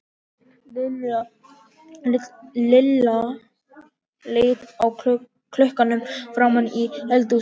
Lilla leit á klukkuna frammi í eldhúsi.